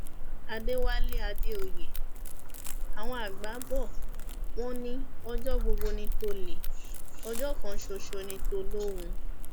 aṣọ ìmúra eré fún eré ìtàgé mi lásìkò ìfilọlẹ ìwé mi sí ni